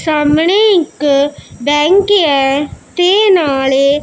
ਸਾਹਮਣੇ ਇੱਕ ਬੈਂਕ ਹੈ ਤੇ ਨਾਲੇ--